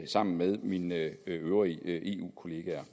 sammen med mine øvrige eu kollegaer